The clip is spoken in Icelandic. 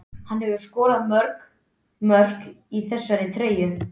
Hann hefur skorað mörg mörk í þessari treyju.